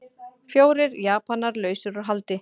Fjórir Japanar lausir út haldi